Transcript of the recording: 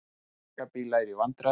Flutningabílar í vandræðum